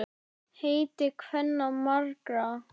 Heiti kvenna margra er.